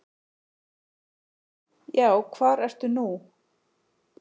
Já, hvar ertu nú?